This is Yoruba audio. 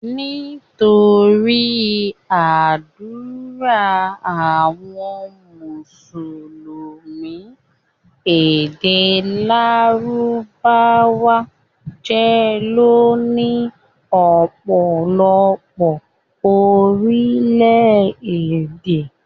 Nítorí ádùrá àwọn mùsùlùmí, èdè lárùbáwá jẹ́ ìlò ní ọ̀pọ̀lọpọ̀ Orílẹ̀-èdè.